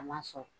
A ma sɔn